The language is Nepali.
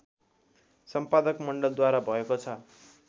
सम्पादक मण्डलद्वारा भएको छ